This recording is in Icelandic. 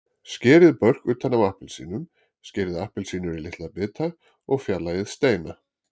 Skerið börk utan af appelsínum, skerið appelsínur í litla bita og fjarlægið steina.